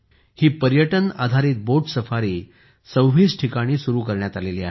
ही पर्यटन आधारित boat safari 26 ठिकाणी सुरू करण्यात आली आहे